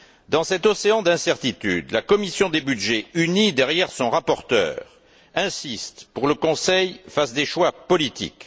Dans cet océan d'incertitude, la commission des budgets, unie derrière son rapporteur, insiste pour que le Conseil fasse des choix politiques.